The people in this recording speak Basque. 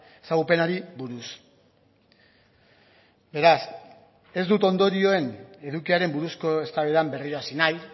ezagupenari buruz beraz ez dut ondorioen edukiaren buruzko eztabaidan berriro hasi nahi